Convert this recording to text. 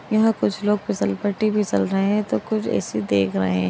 कुछ लोग फिसल पट्टी फिसल रहे हैं तो कुछ ऐसे देख रहे है।